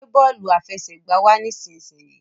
gbé bóòlù àfẹsẹ̀gbá wá nísìsiyìí!